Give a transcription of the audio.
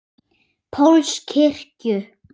Páls kirkju.